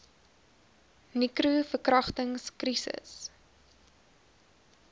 nicro verkragtings krisis